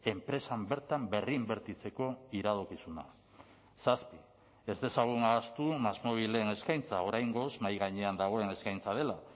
enpresan bertan berri inbertitzeko iradokizuna zazpi ez dezagun ahaztu másmóvilen eskaintza oraingoz mahai gainean dagoen eskaintza dela